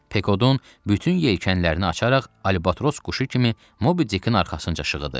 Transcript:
Pekodun bütün yelkənlərini açaraq Albatros quşu kimi Mobi Dikin arxasınca şığıdı.